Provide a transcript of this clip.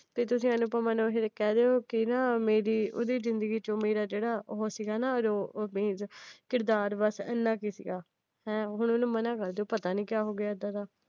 ਵੀ ਤੁਸੀਂ ਅਨੂਪਮਾ ਨੂੰ ਕਹਿਦੋ ਕੀ ਨਾ ਮੇਰੀ ਓਹੰਦੀ ਜਿੰਦਗੀ ਚ ਮੇਰਾ ਜਿਹੜਾ ਉਹ ਸੀ ਨਾ ਕਿਰਦਾਰ ਬੱਸ ਏਨਾ ਕੁ ਸੀ ਗਾ। ਹੁਣ ਉਹਨੂੰ ਮਨਾ ਕਰਦੋ। ਪਤਾ ਨਹੀਂ ਕੀ ਹੋ ਗਿਆ ਏਦਾਂ ਦਾ